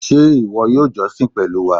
Ṣé ìwọ yóò jọ́sìn pẹ̀lú wa?